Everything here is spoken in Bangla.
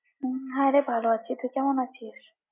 হম হ্যাঁ রে ভালো আছি, তুই কেমন আছিস?